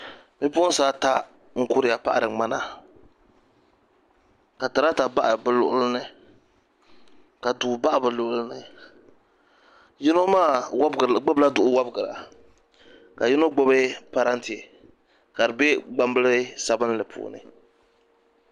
bi'puɣinsi ata n-kuriya paɣiri ŋmana ka trata baɣi bɛ luɣili ni ka tuu baɣi bɛ luɣili ni yino maa gbubila duɣu wɔbigira ka yino gbubi parante ka di be gbambili sabinlli puuni